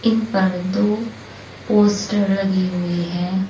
इन पर दो पोस्टर लगे हुए हैं।